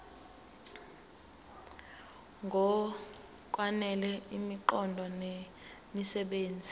ngokwanele imiqondo nemisebenzi